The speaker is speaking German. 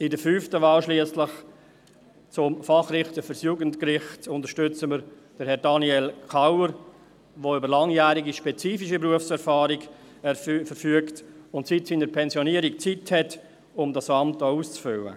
Bei der fünften Wahl schliesslich, Fachrichter für das Jugendgericht, unterstützen wir Herrn Daniel Kauer, der über langjährige spezifische Berufserfahrung verfügt und seit seiner Pensionierung Zeit hat, um dieses Amt auch auszufüllen.